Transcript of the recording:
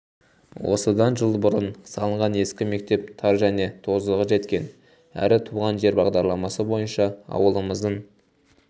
осыдан жыл бұрын салынған ескі мектеп тар және тозығы жеткен әрі туған жер бағдарламасы бойынша ауылымыздың